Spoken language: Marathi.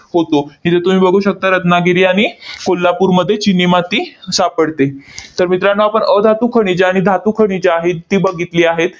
होतो. हे जे तुम्ही बघू शकता रत्नागिरी आणि कोल्हापूरमध्ये चिनी माती सापडते. तर मित्रांनो, आपण अधातू खनिजे आणि धातू खनिजे आहेत, ती बघितली आहेत.